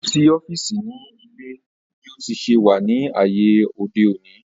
Kò sí ọ́fìsì ní ilé bí ó ti se wà ní ayé òde òni